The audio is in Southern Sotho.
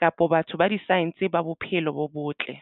kapa batho ba di-science ba bophelo bo botle.